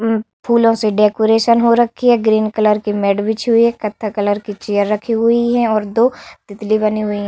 फूलों से डेकोरेशन हो रखी है ग्रीन कलर की मैट बिछी हुई है कत्था कलर की चेयर रखी हुई है और दो तितली बने हुए हैं।